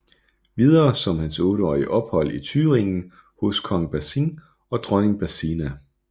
Videre om hans otteårige ophold i Thüringen hos kong Basin og dronning Basina